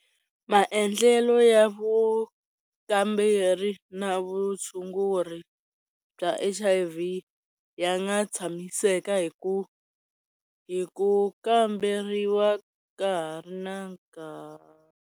Maendlelo ya vukamberi na vutshunguri bya H_I_V ya nga tshamiseka hi ku hi ku kamberiwa ka ha ri na nkarhi.